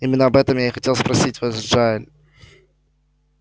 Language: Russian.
именно об этом я и хотел спросить вас джаэль